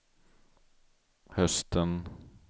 hösten